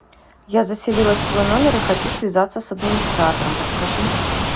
я заселилась в свой номер и хочу связаться с администратором подскажи